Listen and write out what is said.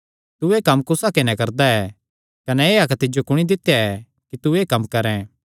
तू एह़ कम्म कुस हक्के नैं करदा ऐ कने एह़ हक्क तिज्जो कुणी दित्या ऐ कि तू एह़ कम्म करैं